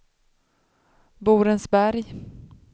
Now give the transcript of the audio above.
Borensberg